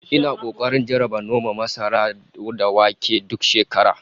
Ina kokarin jarraba noman masara da wake duk shekara